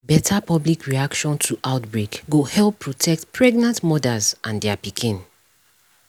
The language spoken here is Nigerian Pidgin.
better public reaction to outbreak go help protect pregnant mothers and their pikin